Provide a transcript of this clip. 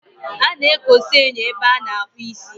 A na-ekosa enyo ebe a na-akpụ isi.